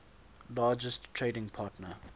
largest trading partner